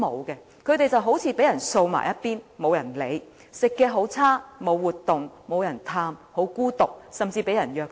長者便好像被人掃往一旁般，沒人理會，飲食惡劣，沒有活動，沒有人探望，十分孤獨，甚至被人虐待。